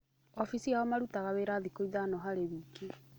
Ofiici yao marutaga wĩra thikũ ithano harĩ wiki.